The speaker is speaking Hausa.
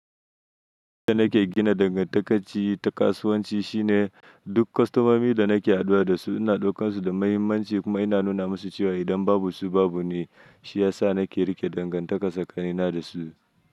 Inda nake gina dangantaka ta kasuwanci shine duk kostomomi da nake haduwa da su, ina ɗaukan su da muhimmanci kuma ina nuna musu cewa idan babu su babu ni. Shi ya sa nake riƙe dangantaka sakanina da su.